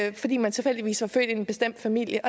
ind fordi man tilfældigvis var født i en bestemt familie